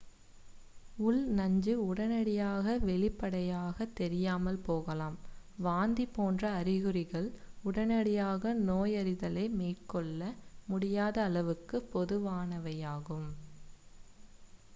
உள் நஞ்சு உடனடியாக வெளிப்படையாகத் தெரியாமல் போகலாம் வாந்தி போன்ற அறிகுறிகள் உடனடியாக நோயறிதலை மேற்கொள்ள முடியாத அளவுக்கு பொதுவானவையாகும்